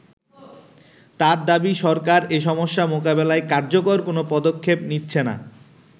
তার দাবি সরকার এ সমস্যা মোকাবেলায় কার্যকর কোন পদক্ষেপ নিচ্ছেনা।